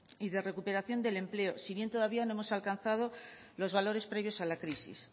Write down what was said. y de recuperación del empleo si bien todavía no hemos alcanzado los valores previos a la crisis